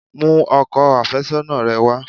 Mú ọkọ àfẹ́sọ́nà rẹ wá!